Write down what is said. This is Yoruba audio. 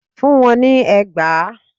Fún wọn ní ẹgbàá!